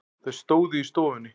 Þau stóðu í stofunni.